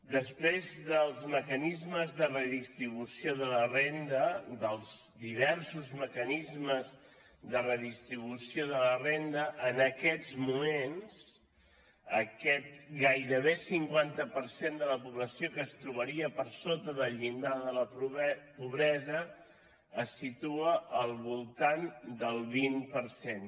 després dels mecanismes de redistribució de la renda dels diversos mecanismes de redistribució de la renda en aquests moments aquest gairebé cinquanta per cent de la població que es trobaria per sota del llindar de la pobresa es situa al voltant del vint per cent